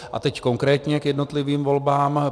A teď konkrétně k jednotlivým volbám.